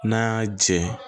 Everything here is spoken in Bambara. N'a y'a jɛn